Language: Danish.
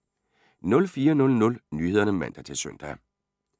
04:00: Nyhederne (man-søn)